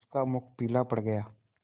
उसका मुख पीला पड़ गया